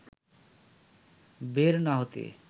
বের না হতে